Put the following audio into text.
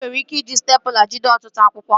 Ị nwere ike iji stepụla jide ọtụtụ akwụkwọ